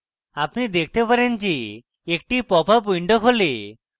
আপনি দেখতে পারেন যে একটি popup window খোলে